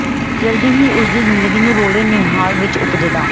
ਜਲਦੀ ਹੀ ਉਸ ਦੀ ਜ਼ਿੰਦਗੀ ਨੂੰ ਰੌਲੇ ਨਿਹਾਲ ਵਿੱਚ ਉਪਜਦਾ